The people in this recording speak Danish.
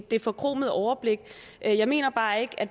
det forkromede overblik jeg mener bare ikke at